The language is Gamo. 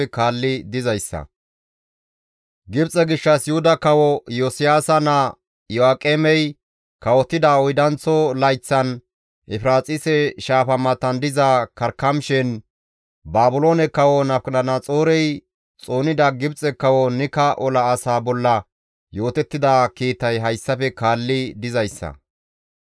Gibxe gishshas Yuhuda kawo Iyosiyaasa naa Iyo7aaqemey kawotida oydanththo layththan, Efiraaxise Shaafa matan diza Karkamishen, Baabiloone kawo Nabukadanaxoorey xoonida Gibxe kawo Nika ola asaa bolla yootettida kiitay hayssafe kaalli dizayssa;